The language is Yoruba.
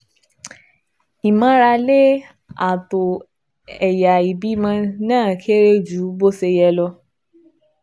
Ìmárale ààtọ̀ ẹ̀yà ìbímọ náà kéré ju bó ṣe yẹ lọ